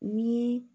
Ni